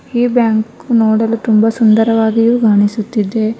ಈ ಬ್ಯಾಂಕ್ ನೋಡಲು ತುಂಬಾ ಸುಂದರವಾಗಿಯೂ ಕಾಣಿಸುತ್ತಿದೆ.